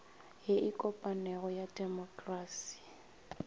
ye e kopanego ya temokrasi